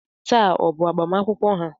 Taa ọ bụ agbamakwụkwọ ha?